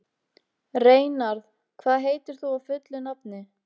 Reynarð, hvað heitir þú fullu nafni?